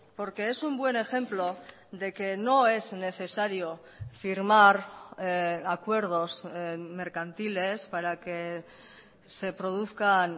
porque es un buen ejemplo de que no es necesario firmar acuerdos mercantiles para que se produzcan